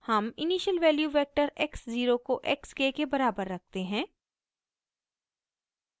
हम initial values vector x 0 को x k के बराबर रखते हैं